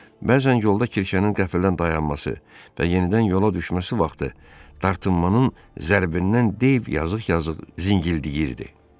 Bəzən yolda kirşənin qəflətən dayanması və yenidən yola düşməsi vaxtı dartınmanın zərbindən Dey yazıq-yazıq zingildiyirdi.